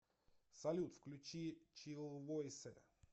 салют включи чиллвойс